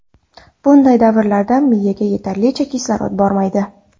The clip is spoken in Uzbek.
Bunday davrlarda miyaga yetarlicha kislorod bormaydi.